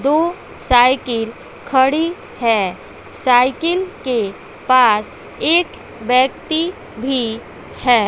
दो साइकिल खड़ी है साइकिल के पास एक व्यक्ति भी है।